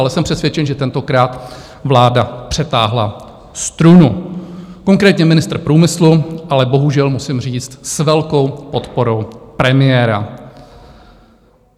Ale jsem přesvědčen, že tentokrát vláda přetáhla strunu, konkrétně ministr průmyslu, ale bohužel musím říct, s velkou podporou premiéra.